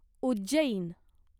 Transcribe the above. Ujjain